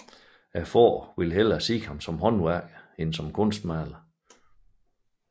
Faren ville hellere se ham som håndværker end som kunstmaler